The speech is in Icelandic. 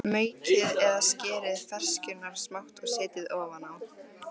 Maukið eða skerið ferskjurnar smátt og setjið ofan á.